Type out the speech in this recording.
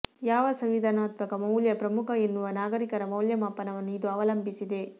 ಯಾವ ಸಂವಿಧಾನಾತ್ಮಕ ಮೌಲ್ಯ ಪ್ರಮುಖ ಎನ್ನುವ ನಾಗರಿಕರ ಮೌಲ್ಯಮಾಪನವನ್ನು ಇದು ಅವಲಂಬಿಸಿದೆ